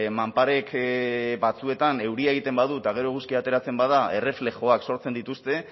manparek batzuetan euria egiten badu eta gero eguzkia ateratzen bada erreflexuak sortzen dituzte